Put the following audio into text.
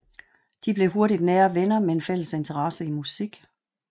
De blev hurtigt nære venner med en fælles interesse i musik